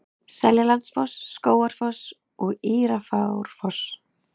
Seljalandsfoss, Skógafoss og Írárfoss.